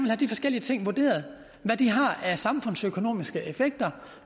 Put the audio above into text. have de forskellige ting vurderet hvad de har af samfundsøkonomiske effekter